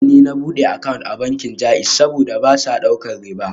A jiya ne na bude account a bankin JAIZ, saboda ba sa daukar riba